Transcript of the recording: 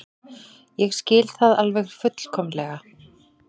Ég skil það alveg fullkomlega.